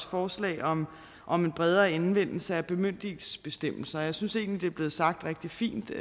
forslag om om en bredere anvendelse af bemyndigelsesbestemmelser og jeg synes egentlig er blevet sagt rigtig fint